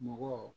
Mɔgɔ